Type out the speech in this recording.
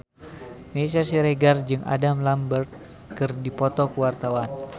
Meisya Siregar jeung Adam Lambert keur dipoto ku wartawan